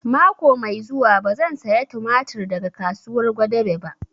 Mako mai zuwa ba zan saya tumatir daga kasuwar Gwadabe ba